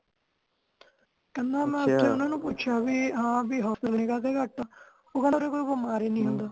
ਕਹਿੰਦਾ ਮੈਂ ਓਥੇ ਉਹਨਾਂ ਨੂੰ ਪੁੱਛਿਆ ਬੀ ਹਾਂ ਬੀ hospital ਕਾਤੇ ਘੱਟ ਆ ਉਹ ਕਹਿਣਾ ਇਥੇ ਕੋਈ ਬਮਾਰ ਈ ਨੀ ਹੁੰਦਾ